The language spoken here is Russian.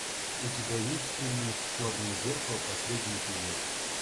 у тебя есть фильмец черное зеркало последний эпизод